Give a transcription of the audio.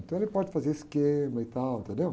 Então ele pode fazer esquema e tal, entendeu?